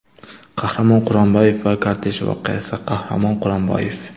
Qahramon Quronboyev va kortej voqeasi Qahramon Quronboyev.